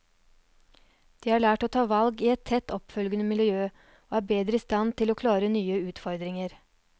De har lært å ta valg i et tett oppfølgende miljø, og er bedre i stand til å klare nye utfordringer.